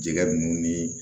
Jɛgɛ ninnu ni